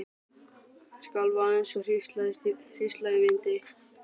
Skalf eins og hrísla í vindi.